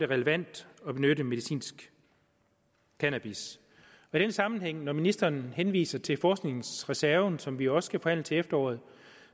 relevant at benytte medicinsk cannabis i den sammenhæng når ministeren henviser til forskningsreserven som vi også skal forhandle til efteråret